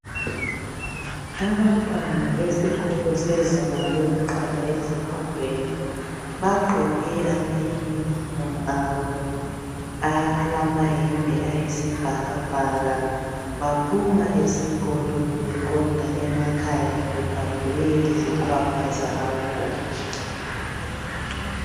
Abantwana besikolo sezinga lokuqala ezifundweni bagqoke amayunifomu abo alamayembe ayisibhakabhaka baphuma esikolo beqonda emakhaya bebhabhule izikhwama zabo.